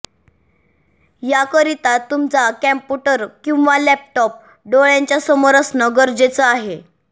याकरिता तुमचा कॉम्प्युटर किंवा लॅपटॉप डोळ्याच्या समोर असणं गरजेचं आहे